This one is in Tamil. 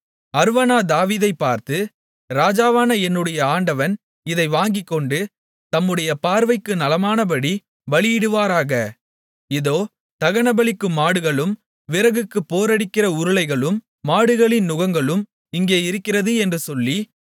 அர்வனா தாவீதைப் பார்த்து ராஜாவான என்னுடைய ஆண்டவன் இதை வாங்கிக்கொண்டு தம்முடைய பார்வைக்கு நலமானபடி பலியிடுவாராக இதோ தகனபலிக்கு மாடுகளும் விறகுக்குப் போரடிக்கிற உருளைகளும் மாடுகளின் நுகங்களும் இங்கே இருக்கிறது என்று சொல்லி